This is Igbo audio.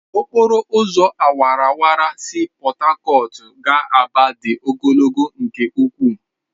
Okporo ụzọ awara awara si Port Harcourt gaa Aba dị ogologo nke ukwu.